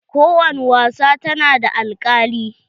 Ko wani wasa ta na da alkali.